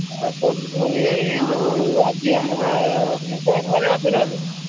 ଘରେ ଅଛ ନା ଏବେ?